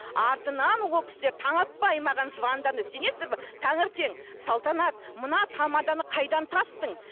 артынан ол кісілер таң атпай маған звондады сенесіздер ме таңертең салтанат мына тамаданы қайдан таптың